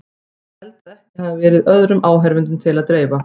Ég held að ekki hafi verið öðrum áheyrendum til að dreifa.